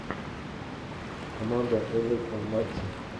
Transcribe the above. команда эвертон матчи